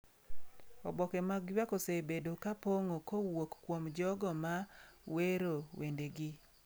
Oboke mag ywak osebedo ka pong’o kowuok kuom jogo ma wero wendegi.